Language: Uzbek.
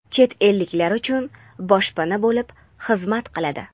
chet elliklar uchun boshpana bo‘lib xizmat qiladi.